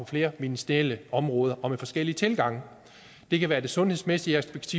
flere ministerielle områder og med forskellige tilgange det kan være det sundhedsmæssige aspekt